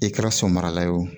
I kɛra somarala ye o